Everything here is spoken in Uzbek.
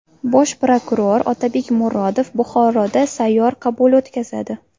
Bosh prokuror Otabek Murodov Buxoroda sayyor qabul o‘tkazadi.